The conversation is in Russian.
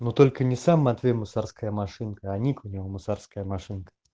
но только не сам матвей мусорская машинка а ник у него мусорская машинка